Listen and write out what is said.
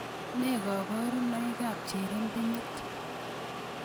Ne koborunoikab cherebenyit